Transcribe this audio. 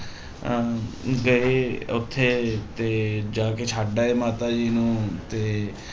ਅਹ ਗਏ ਉੱਥੇ ਤੇ ਜਾ ਕੇ ਛੱਡ ਆਏ ਮਾਤਾ ਜੀ ਨੂੰ ਤੇ